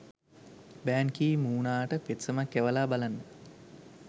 බෑන් Ki මූනාට පෙත්සමක් යවලා බලන්න.